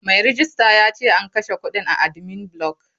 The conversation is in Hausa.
Mai rejista yace an kashe kudin a admin block.